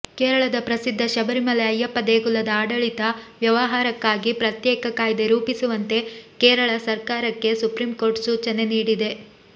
ಕೇರಳದ ಪ್ರಸಿದ್ಧ ಶಬರಿಮಲೆ ಅಯ್ಯಪ್ಪ ದೇಗುಲದ ಆಡಳಿತ ವ್ಯವಹಾರಕ್ಕಾಗಿ ಪ್ರತ್ಯೇಕ ಕಾಯ್ದೆ ರೂಪಿಸುವಂತೆ ಕೇರಳ ಸರ್ಕಾರಕ್ಕೆ ಸುಪ್ರೀಂಕೋರ್ಟ್ ಸೂಚನೆ ನೀಡಿದೆ